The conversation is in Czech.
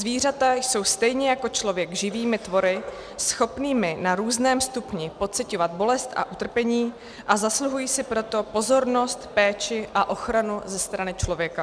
Zvířata jsou stejně jako člověk živými tvory, schopnými na různém stupni pociťovat bolest a utrpení, a zasluhují si proto pozornost, péči a ochranu ze strany člověka.